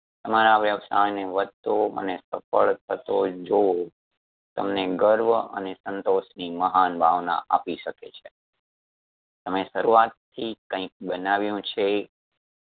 તમારા વ્યવસાયને વધતો અને સફળ થતો જોવો તમને ગર્વ અને સંતોષની મહાન ભાવના આપી શકે છે તમે શરૂઆત થી કઈક બનાવ્યું છે